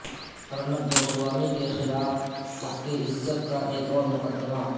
ارنب گوسوامی کیخلاف ہتک عزت کا ایک اور مقدمہ